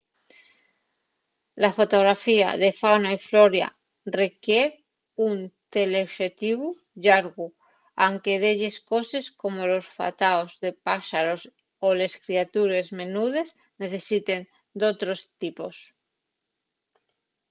la fotografía de fauna y flora requier d'un teleoxetivu llargu anque delles coses como los fataos de páxaros o les creatures menudes necesiten d'otros tipos